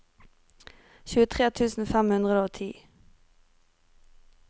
tjuetre tusen fem hundre og ti